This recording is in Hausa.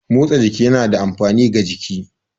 Motsa jiki yana da amfani ga jiki.